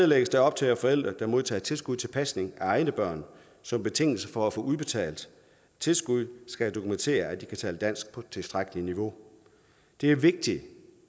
lægges der op til at forældre der modtager tilskud til pasning af egne børn som betingelse for at få udbetalt tilskuddet skal dokumentere at de kan tale dansk på et tilstrækkelig højt niveau det er vigtigt